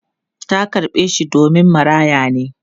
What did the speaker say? Ta karɓe shi domin maraya ne.